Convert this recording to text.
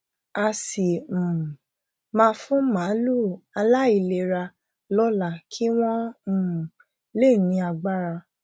a sì um máa fún màlúù aláìlera lóla kí wọn um lè ní agbára